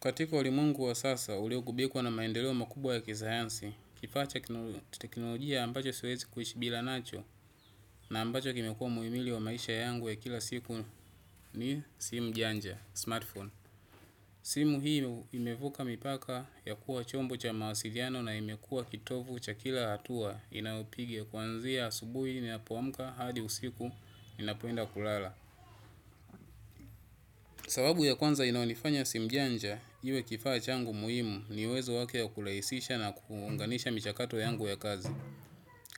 Katika ulimwengu wa sasa, uliogubikwa na maendeleoa makubwa ya kisayansi, kifaa cha teknolojia ambacho siwezi kuishi bila nacho na ambacho kimekuwa muhimili wa maisha yangu ya kila siku ni simu janja, smartphone. Simu hii imevuka mipaka ya kuwa chombo cha mawasiliano na imekuwa kitovu cha kila hatua inayopiga kuanzia asubuhi ninapoamka hadi usiku ninapoenda kulala. Sababu ya kwanza inaonifanya simu janja, iwe kifaa changu muhimu ni uwezo wake ya kurahisisha na kuunganisha michakato yangu ya kazi.